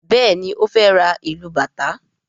Béèni o fè rá ilú bàtá.